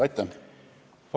Aitäh!